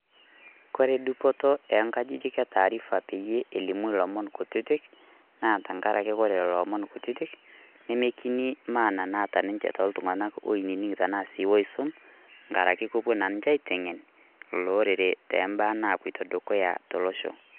Kore dupoto oo nga'jijik olomon letaarifa pee elimu ilomon kutitik tengaraki ore lelo omon kutitik nemekini maana naata ninche tooltung'anak oinining' anaa sii oisum ngaraki kepuo naa ninche aiteng'en ilo olorere too mbaaa napoito dukuya tolosho.